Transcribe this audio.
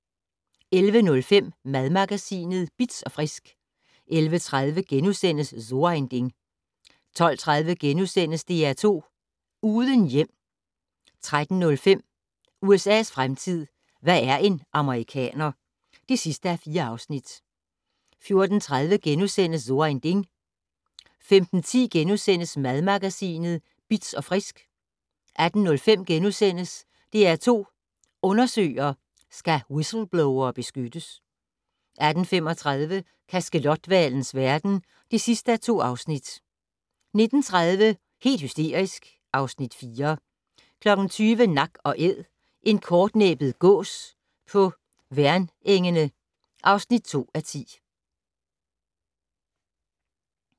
11:05: Madmagasinet Bitz & Frisk 11:30: So ein Ding * 12:30: DR2 Uden hjem * 13:05: USA's fremtid - hvad er en amerikaner? (4:4) 14:30: So ein Ding * 15:10: Madmagasinet Bitz & Frisk * 18:05: DR2 Undersøger: Skal whistleblowere beskyttes? * 18:35: Kaskelothvalens verden (2:2) 19:30: Helt hysterisk (Afs. 4) 20:00: Nak & Æd - en kortnæbbet gås på Værnengene (2:10)